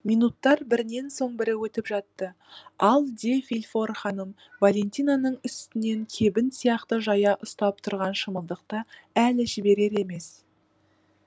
минуттар бірінен соң бірі өтіп жатты ал де вильфор ханым валентинаның үстінен кебін сияқты жая ұстап тұрған шымылдықты әлі жіберер емес